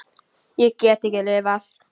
Ég get ekki lifað.